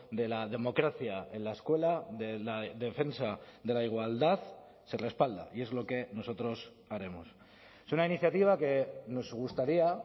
de la democracia en la escuela de la defensa de la igualdad se respalda y es lo que nosotros haremos es una iniciativa que nos gustaría